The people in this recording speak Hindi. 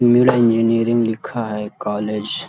सिविल इंजीनियरिंग लिखा है कॉलेज --